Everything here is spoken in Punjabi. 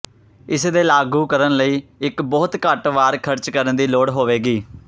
ਇਸ ਦੇ ਲਾਗੂ ਕਰਨ ਲਈ ਇੱਕ ਬਹੁਤ ਘੱਟ ਵਾਰ ਖਰਚ ਕਰਨ ਦੀ ਲੋੜ ਹੋਵੇਗੀ